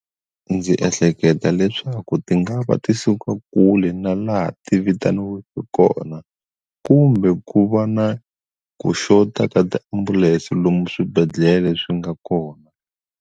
Ndzi ehleketa leswaku ti nga va ti suka kule na laha ti vitaniweke kona kumbe ku va na ku xota ka tiambulense lomu swibedhlele swi nga kona.